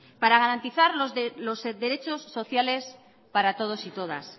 para garantizar los derechos sociales para todos y todas